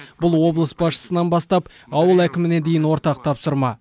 бұл облыс басшысынан бастап ауыл әкіміне дейін ортақ тапсырма